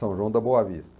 São João da Boa Vista.